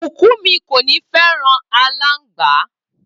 Bukunmi kò ní fẹràn alangba.